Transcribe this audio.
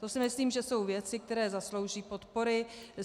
To si myslím, že jsou věci, které zaslouží podpory.